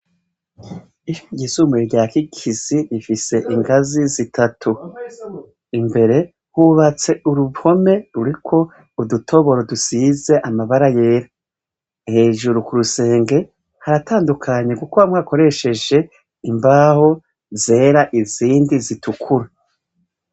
Isi yizumuye rya kikizi rifise ingazi zitatu imbere hubatse urupome ruriko udutoboro dusize amabara yera hejuru ku rusenge haratandukanye, kuko bamwe akoresheje imbaho zera izindi zitukura.